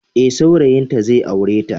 Ee, saurayinta zai aure ta.